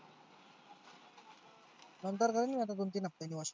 नंतर करीन मी दोन तीन हाफ्त्यानी